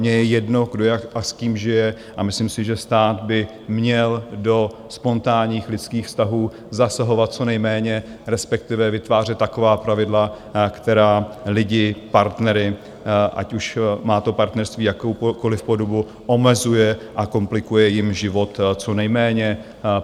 Mně je jedno, kdo jak a s kým žije, a myslím si, že stát by měl do spontánních lidských vztahů zasahovat co nejméně, respektive vytvářet taková pravidla, která lidi, partnery, ať už má partnerství jakoukoliv podobu, omezuje a komplikuje jim život co nejméně.